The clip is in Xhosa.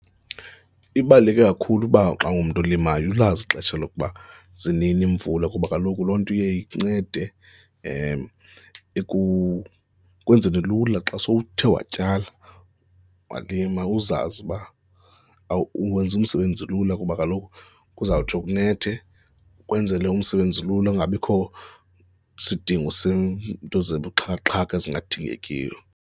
Ibaluleke kakhulu kuba xa ungumntu olimayo ulazi ixesha lokuba zinini iimvula kuba kaloku loo nto iye incede ikwenzele lula xa sewuthe watyala, walima uzazi uba wenza umsebenzi lula kuba kaloku kuzawutsho kunethe, kwenzele umsebenzi lula kungabikho sidingo seento zobuxhakaxhaka ezingadingekiyo.